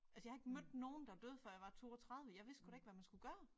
Altså jeg har ikke mødt nogen der døde før jeg var 32 jeg vidste sgu da ikke hvad man skulle gøre